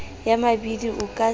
ya mabidi o ka se